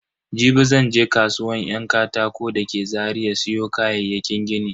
Jibi zan je kasuwan yan katako da ke Zaria siyo kayayyakin gini.